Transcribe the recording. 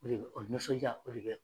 O de o nisɔnjaa o de bɛ yan.